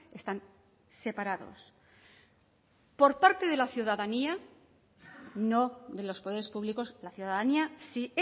están separados por parte de la ciudadanía no de los poderes públicos la ciudadanía sí